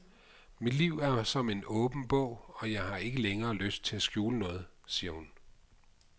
Mit liv er som en åben bog, og jeg har ikke længere lyst til at skjule noget, siger hun.